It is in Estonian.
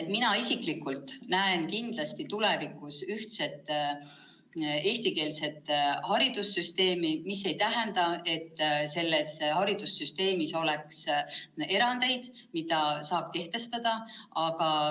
Mina isiklikult näen kindlasti tulevikus ühtset eestikeelset haridussüsteemi, see aga ei tähenda, et selles haridussüsteemis poleks erandeid, mida saab kehtestada.